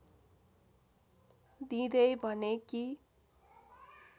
दिँदै भने कि